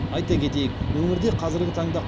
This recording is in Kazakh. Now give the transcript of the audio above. айта кетейік өңірде қазіргі таңда